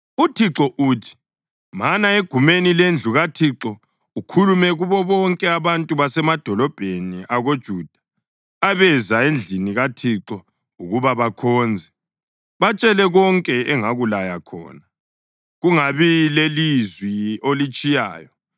“ UThixo uthi: Mana egumeni lendlu kaThixo ukhulume kubo bonke abantu basemadolobheni akoJuda abeza endlini kaThixo ukuba bakhonze. Batshele konke engakulaya khona, kungabi lelizwi olitshiyayo.